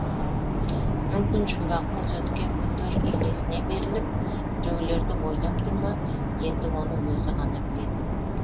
мүмкін жұмбақ қыз өткен күндер елесіне беріліп біреулерді ойлап тұр ма енді оны өзі ғана біледі